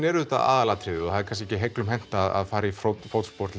er auðvitað aðalatriðið og það er kannski ekki heiglum hent að fara í fótspor